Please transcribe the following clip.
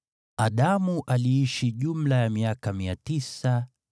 Adamu aliishi jumla ya miaka 930, ndipo akafa.